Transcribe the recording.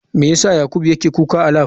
Me yasa yakubu yake kuka a lab?